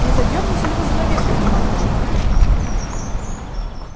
не задёрнете ли вы занавеску командор